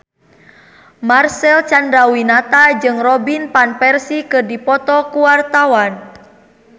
Marcel Chandrawinata jeung Robin Van Persie keur dipoto ku wartawan